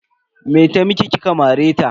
Me ta miki kika mare ta?